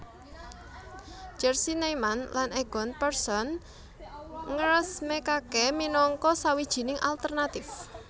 Jerzy Neyman lan Egon Pearson ngresmèkaké minangka sawijining alternatif